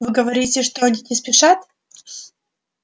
вы говорите что они не спешат